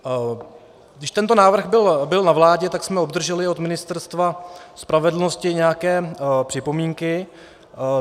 Když tento návrh byl na vládě, tak jsme obdrželi od Ministerstva spravedlnosti nějaké připomínky.